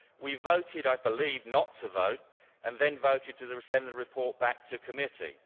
We voted, I believe, not to vote, and then voted to send the report back to committee.